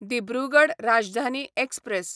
Dibrugarh Rajdhani express